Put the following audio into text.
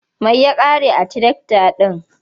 Mai ya ƙare a tirakta ɗin.